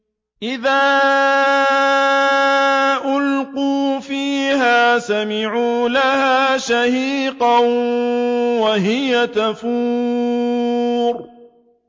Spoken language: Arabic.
إِذَا أُلْقُوا فِيهَا سَمِعُوا لَهَا شَهِيقًا وَهِيَ تَفُورُ